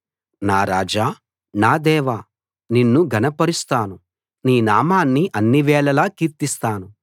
నా రాజా నా దేవా నిన్ను ఘనపరుస్తాను నీ నామాన్ని అన్నివేళలా కీర్తిస్తాను